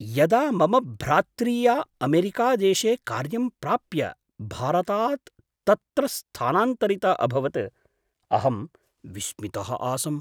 यदा मम भ्रात्रीया अमेरिकादेशे कार्यं प्राप्य भारतात् तत्र स्थानान्तरिता अभवत् अहं विस्मितः आसम्।